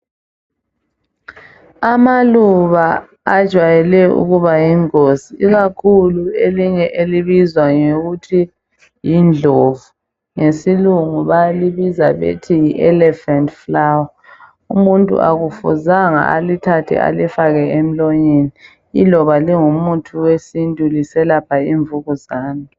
Amaluba ajwayele ukuba yingozi ikakhulu elinye elibizwa ngokuthi yindlovu ngesilungu balibiza ngokuthi yi elephant flowerumuntu akufuzanga alithathe alifake emlonyeni iloba lingumuthi wesintu liselapha imvukuzane.